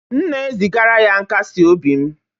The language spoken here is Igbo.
M na-ezigara ya nkasi obi m